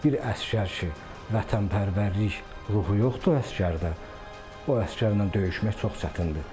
Bir əsgər ki, vətənpərvərlik ruhu yoxdur əsgərdə, o əsgərlə döyüşmək çox çətindir.